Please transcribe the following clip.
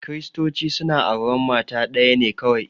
Kiristoci suna auran mata ɗaya ne kawai